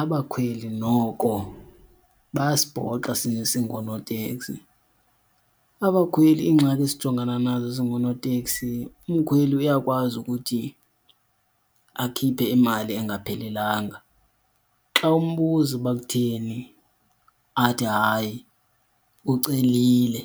Abakhweli noko bayasibhoxa singoonoteksi. Abakhweli, iingxaki esijongena nazo singoonoteksi umkhweli uyakwazi ukuthi akhiphe imali engaphelelanga. Xa umbuza uba kutheni athi hayi ucelile,